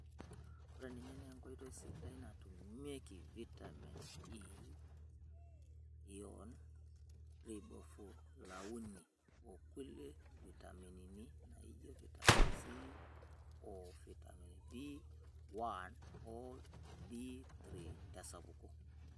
Ore ninye naa enkoitoi sidai natumieki vitami E,iyon, ribofulauini, okilie vitamini naijio vitaminC, oo vitamin B1 oo B3 tesapuko.